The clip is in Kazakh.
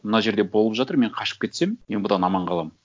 мына жерде болып жатыр мен қашып кетсем мен бұдан аман қаламын